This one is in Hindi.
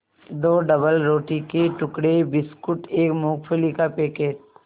दो डबलरोटी के टुकड़े बिस्कुट एक मूँगफली का पैकेट